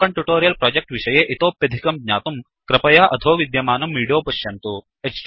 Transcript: spoken tutorial project विषये इतोप्यधिकं ज्ञातुं कृपया अधो विद्यमानं विडीयो पश्यन्तु